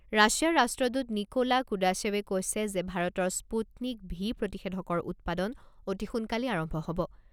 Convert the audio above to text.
ৰাছিয়াৰ ৰাষ্ট্ৰদূত নিকোলা কুদাশেৱে কৈছে যে ভাৰতৰ স্পুটনিক ভি প্ৰতিষেধকৰ উৎপাদন অতি সোনকালেই আৰম্ভ হ'ব।